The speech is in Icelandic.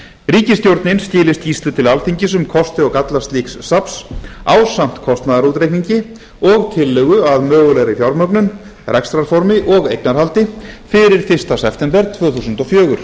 ríkisstjórnin skili skýrslu til alþingis um kosti og galla slíks safns ásamt kostnaðarútreikningi og tillögu að mögulegri fjármögnun rekstrarformi og eignarhaldi fyrir fyrsta september tvö þúsund og fjögur